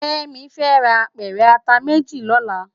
Kemi fè rá ápèrè àtá méjí lòlá